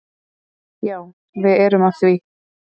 Já, við erum að því.